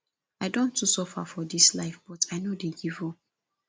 i don too suffer for dis life but i no dey give up